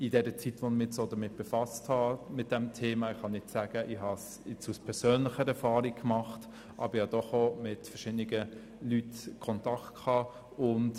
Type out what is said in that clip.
Ich habe keine persönliche Erfahrung mit diesem Thema, habe aber doch während der Zeit, da ich mich mit diesem Thema befasst habe, mit verschiedenen Leuten Kontakt gehabt.